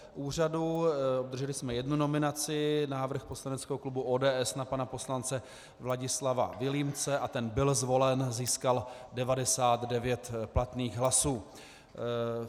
Obdrželi jsme jednu nominaci - návrh poslaneckého klubu ODS na pana poslance Vladislava Vilímce a ten byl zvolen, získal 99 platných hlasů.